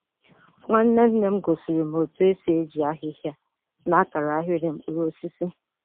Nwanne nne m gosiri m otu esi eji ahịhịa na-akara ahịrị mkpụrụ osisi.